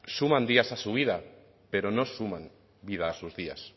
suman días a su vida pero no suman vida a sus días